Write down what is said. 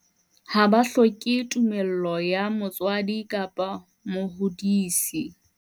Ha ba hloke tumello ya motswadi kapa mohodisi.